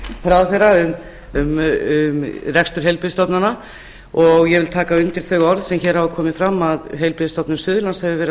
okkar hæstvirtur ráðherra um rekstur heilbrigðisstofnana ég vil taka undir þau orð sem hér hafa komið fram að heilbrigðisstofnun suðurlands hefur verið að